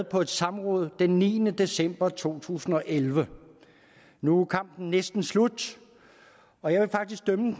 på et samråd den niende december to tusind og elleve nu er kampen næsten slut og jeg vil faktisk dømme